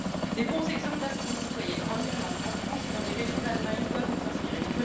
De bons exemples d'assemblées citoyennes en Irlande, en France et dans des régions d'Allemagne doivent nous inspirer.